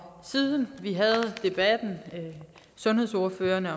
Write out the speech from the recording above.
siden sundhedsordførerne